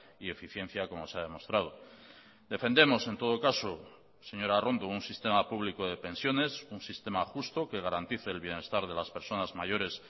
y eficiencia como se ha demostrado defendemos en todo caso señora arrondo un sistema público de pensiones un sistema justo que garantice el bienestar de las personas mayores